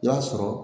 I b'a sɔrɔ